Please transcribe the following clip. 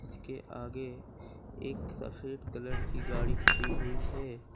इसके आगे एक सफेद कलर की गाड़ी खड़ी हुई है।